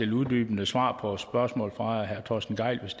uddybende svar på spørgsmål fra herre torsten gejl hvis